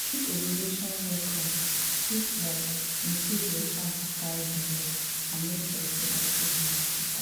to dey keep ovulation records fit like improve your chance to carry belle and make your reproductive health better.